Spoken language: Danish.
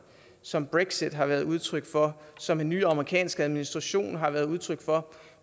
som brexit har været udtryk for som den nye amerikanske administration har været udtryk for